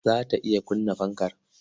Za ta iya kunna fanka?